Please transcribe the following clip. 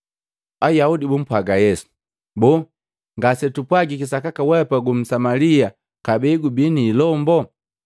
Ayaudi bumpwaga Yesu, “Boo ngase twapwajiki sakaka weapa gu Msamalia kabee gubi ni ilomboo?”